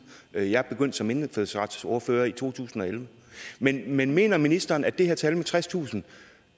jeg jeg begyndte som indfødsretsordfører i to tusind og elleve men men mener ministeren at det her tal på tredstusind